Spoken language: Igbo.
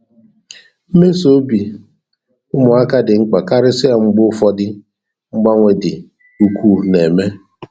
Mmesi obi ụmụaka dị mkpa karịsịa mgbe ụfọ́dụ́ mgbanwe dị ukwuu na-eme